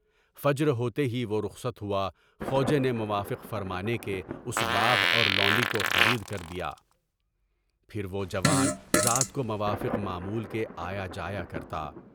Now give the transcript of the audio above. فجر ہوتے ہی وہ رخصت ہوا، خوج نے موافق فرمانے کے اس باغ اور لونڈے کو خرید کر دیا، پھر وہ جوان رات کو موافق معمول کے آیا جاتا تھا۔